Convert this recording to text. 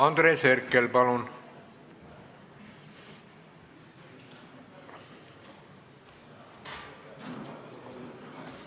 Andres Herkel, palun!